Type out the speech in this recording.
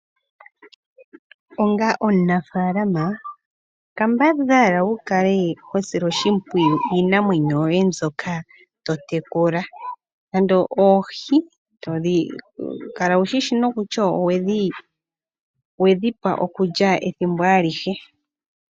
Onga omunafaalama kambadhala wukale ho sile oshimpwiyu iinamwenyo yoye mbyoka totekula, nando oohi kala wushi shi nokutya owedhi pa okulya ethimbo alihe.